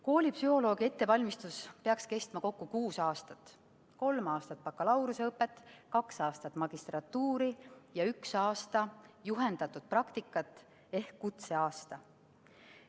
Koolipsühholoogi ettevalmistus peaks kestma kokku kuus aastat: kolm aastat bakalaureuseõpet, kaks aastat magistrantuuri ja üks aasta juhendatud praktikat ehk kutseaasta.